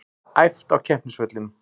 Æft á keppnisvellinum